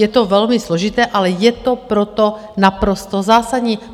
Je to velmi složité, ale je to proto naprosto zásadní.